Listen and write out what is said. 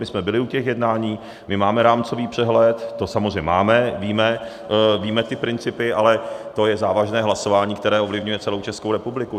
My jsme byli u těch jednání, my máme rámcový přehled, to samozřejmě máme, víme ty principy, ale to je závažné hlasování, které ovlivňuje celou Českou republiku.